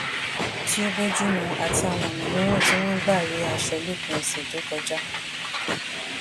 tí o bojumu ati àwọn ònà mìíràn tí wón ń gbà re aṣọ lópin òsè tó kọjá